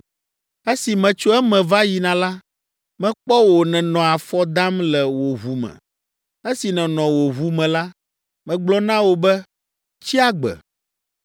“Esi metso eme va yina la, mekpɔ wò nènɔ afɔ dam le wò ʋu me. Esi nènɔ wò ʋu me la, megblɔ na wò be, ‘Tsi agbe.’